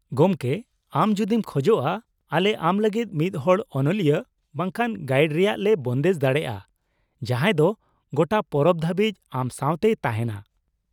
ᱜᱚᱢᱠᱮ, ᱟᱢ ᱡᱩᱫᱤᱢ ᱠᱷᱚᱡᱚᱜᱼᱟ ᱟᱞᱮ ᱟᱢ ᱞᱟᱹᱜᱤᱫ ᱢᱤᱫᱦᱚᱲ ᱚᱱᱚᱞᱤᱭᱟᱹ ᱵᱟᱝᱠᱷᱟᱱ ᱜᱟᱭᱤᱰ ᱨᱮᱭᱟᱜ ᱞᱮ ᱵᱚᱱᱫᱮᱡᱽ ᱫᱟᱲᱮᱭᱟᱜᱼᱟ ᱡᱟᱦᱟᱸᱭ ᱫᱚ ᱜᱚᱴᱟ ᱯᱚᱨᱚᱵᱽ ᱫᱷᱟᱹᱵᱤᱡ ᱟᱢ ᱥᱟᱶᱛᱮᱭ ᱛᱟᱦᱮᱱᱟ ᱾